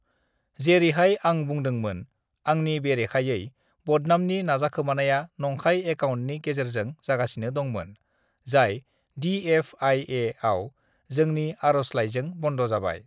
"जेरैहाय आं बुंदोंमोन, आंनि बेरेखायै बदनामनि नाजाखोमानाया नंखाय एकाउन्टनि गेजेरजों जागासिनो दंमोन, जाय दि एफआईएआव जोंनि आर'जलायजों बन्द' जाबाय।"